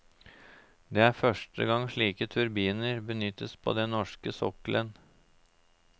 Det er første gang slike turbiner benyttes på den norske sokkelen.